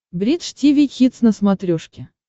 бридж тиви хитс на смотрешке